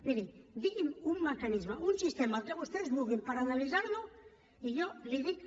miri digui’m un mecanisme un sistema el que vostès vulguin per analitzar lo i jo li dic